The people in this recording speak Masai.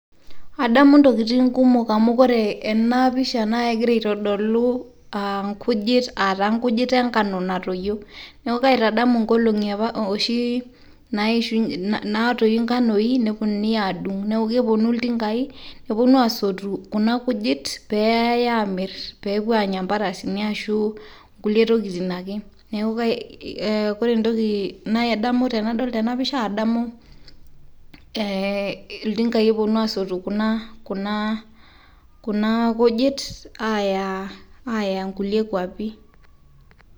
adamu intokitin kumok amu ore ena pisha naa kegira aitodolu inkujit aa nkujit enkano natoyio. neeku kaitadamu inkolong'i oshi naatoyu inganoi, nepuonunui aadung'nepuonunui iltingai. nepuonu aasotu kuna kujitpeeyae aamir pee epuo aanya imparasini ashu kulie tokitin ake. neeku ore entoki nadamu ten apisha. iltinkai epuonu aasotu kuna kujit aaya kulie kuapi.